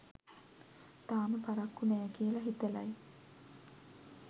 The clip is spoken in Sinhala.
තාම පරක්කු නෑ කියල හිතලයි